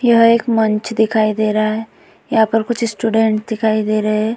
यह एक मंच दिखाई दे रहा है। यहाँ पर कुछ स्टूडेंट दिखाई दे रहे हैं।